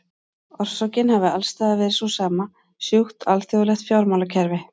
Orsökin hafi alls staðar verið sú sama, sjúkt alþjóðlegt fjármálakerfi.